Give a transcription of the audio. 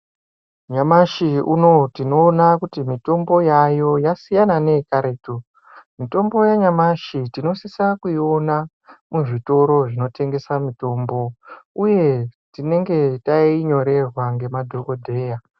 Nyamashi unoyu tinoona kuti mitombo yaayo vasiyana neyekaretu, mitombo yanyamashi tinosisa kuiona kuzvitoro zvinotengesa mitombo uye tinenge tainyorerwa nemadhokodheya.